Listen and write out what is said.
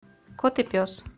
кот и пес